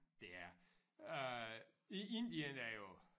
Det er øh i Indien er jo